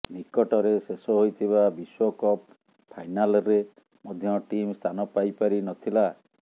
ନିକଟରେ ଶେଷ ହୋଇଥିବା ବିଶ୍ୱକପ୍ ଫାଇନାଲ୍ରେ ମଧ୍ୟ ଟିମ୍ ସ୍ଥାନ ପାଇପାରି ନ ଥିଲା